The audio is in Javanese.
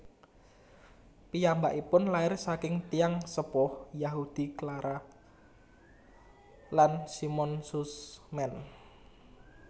Piyambakipun lair saking tiyang sepuh Yahudi Clara lan Simon Sussman